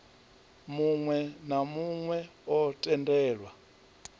muwe na muwe o tendelwa